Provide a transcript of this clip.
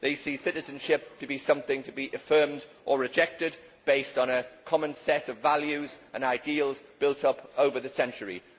They see citizenship as something to be affirmed or rejected, based on a common set of values and ideals built up over the centuries.